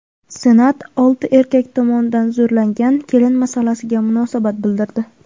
Senat olti erkak tomonidan zo‘rlangan kelin masalasiga munosabat bildirdi.